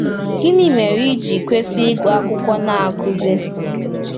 Gịnị mere ị ji kwesị ịgụ akwụkwọ Na-akụzi?